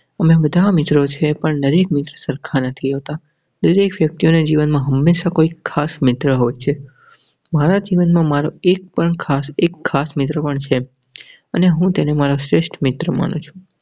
તમે બધા મિત્રો છે, પણ દરેક મિત્ર સરખા નથી હોતા દરેક વ્યક્તિ ને જીવન માં હંમેશા કોઈ ખાસ મિત્ર હોય છે. મારા જીવનમાં મારો એક પણ ખાસ એક ખાસ મિત્ર પણ છે. અને હુ તેને શ્રેષ્ઠ મિત્ર માનુ છે.